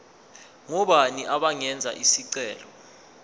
ngobani abangenza isicelo